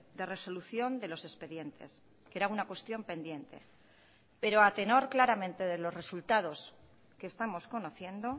de resolución de los expedientes que era una cuestión pendiente pero a tenor claramente de los resultados que estamos conociendo